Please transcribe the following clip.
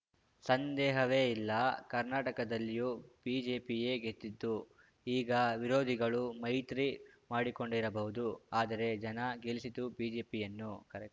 ಸಂದೇಹವೇ ಇಲ್ಲ ಕರ್ನಾಟಕದಲ್ಲಿಯೂ ಬಿಜೆಪಿಯೇ ಗೆದ್ದಿದ್ದು ಈಗ ವಿರೋಧಿಗಳು ಮೈತ್ರಿ ಮಾಡಿಕೊಂಡಿರಬಹುದು ಆದರೆ ಜನ ಗೆಲ್ಲಿಸಿದ್ದು ಬಿಜೆಪಿಯನ್ನುಕರೆಕ್ಟ್